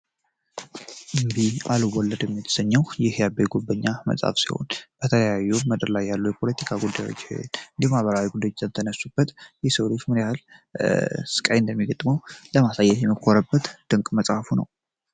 እምቢ አልወለድም የተሰኘው ይህ የአቤ ጉበኛ መፅሐፍ ሲሆን የተለያዩ ምድር ላይ ያሉ የፖለቲካ ጉዳዮችን እንዲሁም ማህበራዊ ጉዳዮች የተነሱበት የሰው ልጅ ምን ያክል ስቃይ እንደሚደገጥመው ለማሳየት የሞከረበት ድንቅ መፅሐፉ ነው።